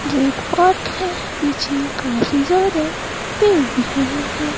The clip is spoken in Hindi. जो एक पार्क है पीछे काफी ज्यादा पेड़ दिख रहे हैं।